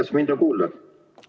Kas mind on kuulda?